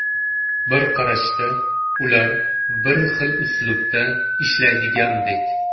Bir qarashda, ular bir xil uslubda ishlaydigandek.